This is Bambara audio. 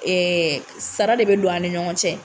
Ɛɛ sara de be don an ni ɲɔgɔn cɛ.